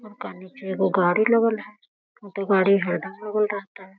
ओकरा निचे एगो गाड़ी लगल है उ तो गाड़ी हरदम लगल रहता है।